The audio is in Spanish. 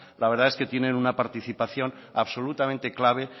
la verdad es que tienen una participación absolutamente clave